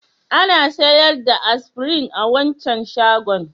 Ana sayar da Aspirin a wancan shagon?